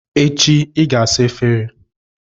Echi, ị ga-asa efere a!